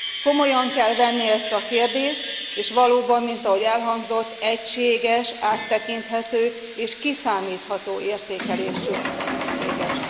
Komolyan kell venni ezt a kérdést, és valóban, mint ahogy elhangzott, egységes, áttekinthető és kiszámítható értékelés szükséges.